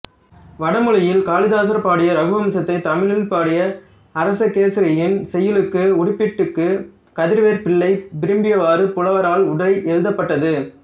வடமொழியில் காளிதாசர் பாடிய இரகுவம்சத்தைத் தமிழில் பாடிய அரசகேசரியின் செய்யுள்களுக்கு உடுப்பிட்டி கு கதிரவேற்பிள்ளை விரும்பியவாறு புலவரால் உரை எழுதபட்டது